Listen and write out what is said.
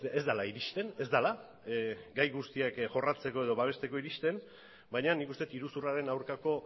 ez dela iristen ez dela gai guztiak jorratzeko edo babesteko iristen baina nik uste iruzurraren aurkako